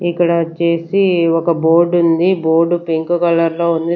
ఇక్కడ వచ్చేసి ఒక బోర్డ్ ఉంది బోర్డు పింక్ కలర్ లో ఉంది.